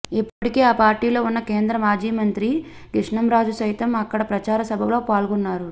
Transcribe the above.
ఇప్పటికే ఆ పార్టీలో ఉన్న కేంద్ర మాజీ మంత్రి కృష్ణంరాజు సైతం అక్కడ ప్రచార సభలో పాల్గొన్నారు